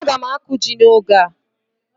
Aga m akụ ji n'oge a.